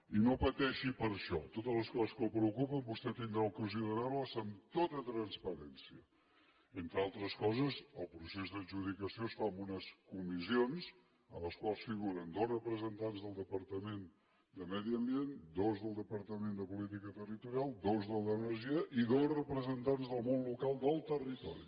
i no pateixi per això totes les coses que el preocupen vostè tindrà ocasió de veure les amb tota transparència entre altres coses el procés d’adjudicació es fa amb unes comissions en les quals figuren dos representants del departament de medi ambient dos del departament de política territorial dos del d’energia i dos representants del món local del territori